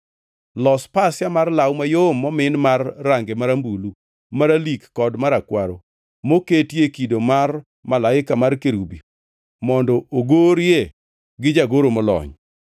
“Los pasia mar law mayom momin mar range marambulu, maralik kod marakwaro, moketie kido mar malaika mar kerubi mondo ogorie gi jagoro molony.